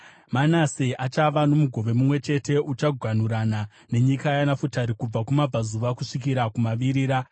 Manase achava nomugove mumwe chete; uchaganhurana nenyika yaNafutari kubva kumabvazuva kusvikira kumavirira.